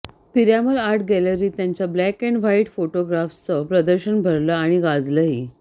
Piramal art गॅलरीत त्याच्या black and white फोटोग्राफ्सचं प्रदर्शन भरलं आणि गाजलंही